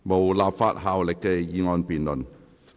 無立法效力的議案辯論。